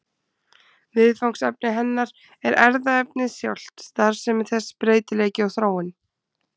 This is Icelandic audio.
Viðfangsefni hennar er erfðaefnið sjálft, starfsemi þess, breytileiki og þróun.